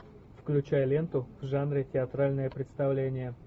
включай ленту в жанре театральное представление